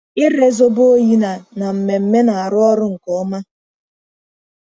Ịre zobo oyi na na mmemme na-arụ ọrụ nke ọma.